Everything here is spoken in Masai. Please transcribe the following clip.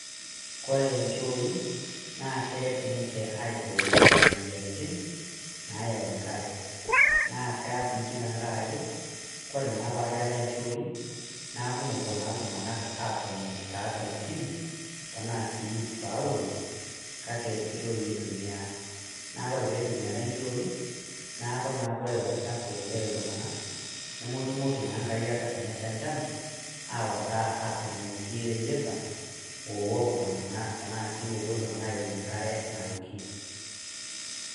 Kore inchoi, na keret ninche aibooyo imoyiaritin, nayau enkare. Naa kees iji tankaraki, kore pakeetae inchooi, naaku mopuo naa iltung'anak atoni tatua ntim, tanaa si taulo, kake inchooi itumia. Na ore pitumiari nchooi, naaku naa kore ilo chafu oitau iltung'anak, nomotumoki naa nkariak tanasha enchan, awata aturrumoki ireyieta, owok iltung'anak tanaa si opuo iltung'anak aunye enkare naoki.